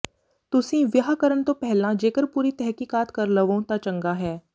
ਤੁਸੀਂ ਵਿਆਹ ਕਰਨ ਤੋਂ ਪਹਿਲਾਂ ਜੇਕਰ ਪੂਰੀ ਤਹਿਕੀਕਾਤ ਕਰ ਲਵੋਂ ਤਾਂ ਚੰਗਾ ਹੈ